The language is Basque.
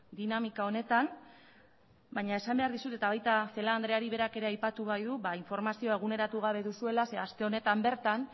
dinamika honetan baina esan behar dizut eta baita celaá andreari berak ere aipatu baitu informazio eguneratu gabe duzuela zeren eta aste honetan bertan